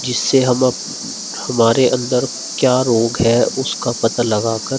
जिससे हम अप हमारे अंदर क्या रोग है उसका पता लगा कर --